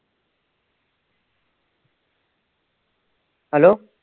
Hello